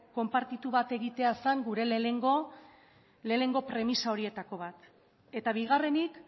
konpartitu bat egitea zen gure lehenengo premisa horietako bat eta bigarrenik